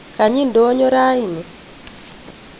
kanyi ndonyo raini